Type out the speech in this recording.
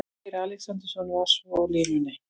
Freyr Alexandersson var svo á línunni.